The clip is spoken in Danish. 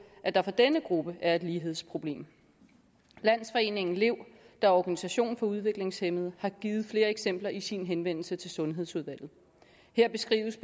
at der for denne gruppe er et lighedsproblem landsforeningen lev der er organisation for udviklingshæmmede har givet flere eksempler i sin henvendelse til sundhedsudvalget her beskrives